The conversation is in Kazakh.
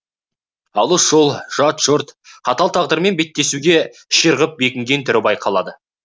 алыс жол жат жұрт қатал тағдырмен беттесуге ширығып бекінген түрі байқалады